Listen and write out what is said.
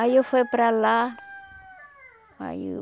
Aí eu fui para lá, aí eu...